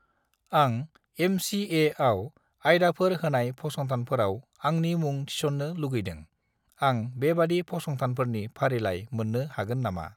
आं एम.चि.ए.आव आयदाफोर होनाय फसंथानफोराव आंनि मुं थिसन्नो लुगैदों, आं बेबादि फसंथानफोरनि फारिलाइ मोन्नो हागोन नामा?